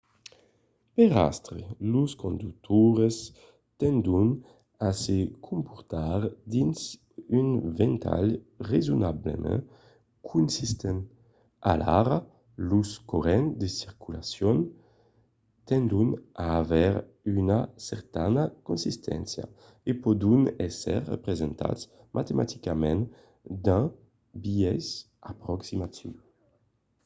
per astre los conductors tendon a se comportar dins un ventalh rasonablament consistent; alara los corrents de circulacion tendon a aver una certana consisténcia e pòdon èsser representats matematicament d'un biais aproximatiu